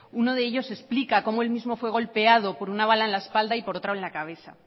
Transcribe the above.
uno de ellos explica cómo él mismo fue golpeado por una bala en la espalda y por otra en la cabeza